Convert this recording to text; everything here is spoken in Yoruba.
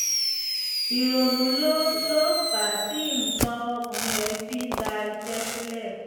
ìrònú ló ló fà á tí nǹkan ọmọkùnrin rẹ́ fi ń da iṣẹ́ sílẹ̀